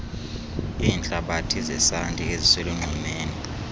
iintlabathi zesanti eziselunxwemeni